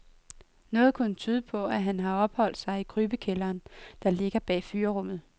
Noget kunne tyde på, at han har opholdt sig i krybekælderen, der ligger bag fyrrummet.